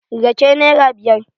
Rake nera biyar